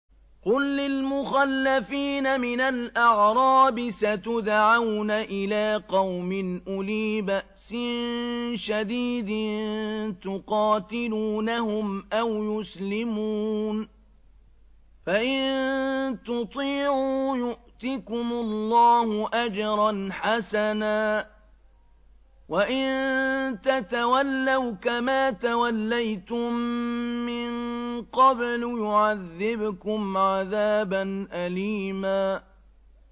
قُل لِّلْمُخَلَّفِينَ مِنَ الْأَعْرَابِ سَتُدْعَوْنَ إِلَىٰ قَوْمٍ أُولِي بَأْسٍ شَدِيدٍ تُقَاتِلُونَهُمْ أَوْ يُسْلِمُونَ ۖ فَإِن تُطِيعُوا يُؤْتِكُمُ اللَّهُ أَجْرًا حَسَنًا ۖ وَإِن تَتَوَلَّوْا كَمَا تَوَلَّيْتُم مِّن قَبْلُ يُعَذِّبْكُمْ عَذَابًا أَلِيمًا